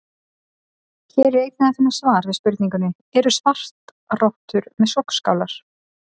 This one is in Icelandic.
Hér er einnig að finna svar við spurningunni: Eru svartrottur með sogskálar?